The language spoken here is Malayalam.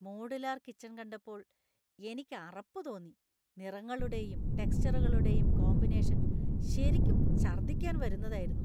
മോഡുലാർ കിച്ചൺ കണ്ടപ്പോൾ എനിക്ക് അറപ്പ് തോന്നി . നിറങ്ങളുടെയും ടെക്സ്ചറുകളുടെയും കോമ്പിനേഷൻ ശരിക്കും ഛർദ്ദിക്കാൻ വരുന്നതായിരുന്നു .